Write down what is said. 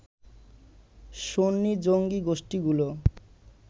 সুন্নি জঙ্গি গোষ্ঠিগুলো